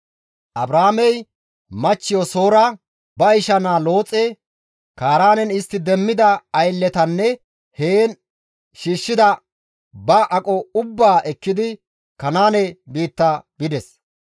Abraamey ba machchiyo Soora, ba isha naa Looxe, Kaaraanen istti demmida aylletanne heen shiishshida bantta aqota ubbaa ekkidi Kanaane biitta bides.